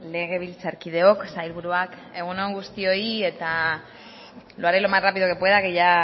legebiltzarkideok sailburuak egun on guztioi eta lo haré lo más rápido que pueda que ya